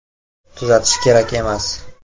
Tuzatish kerak emas!